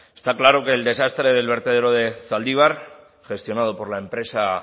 está claro que el desastre del vertedero de zaldibar gestionado por la empresa